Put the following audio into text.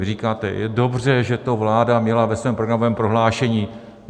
Vy říkáte: je dobře, že to vláda měla ve svém programovém prohlášení.